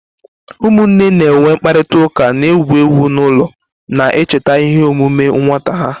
Ụmụnne na-enwe mkparịta ụka na-egwu egwu n'ụlọ, na-echeta ihe omume nwata ha.